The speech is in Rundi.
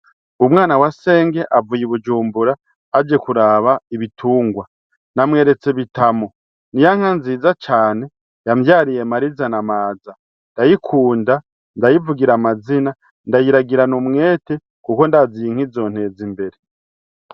Umwana wa senge avuye i bujumbura aje kuraba ibitungwa namweretse bitamo ni yanka nziza cane yamvyariye mariza na amaza ndayikunda ndayivugira amazina ndayiragirana umwete, kuko ndaziye inkizonteza imbere.